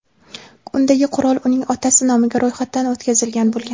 Undagi qurol uning otasi nomiga ro‘yxatdan o‘tkazilgan bo‘lgan.